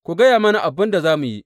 Ku gaya mana abin da za mu yi!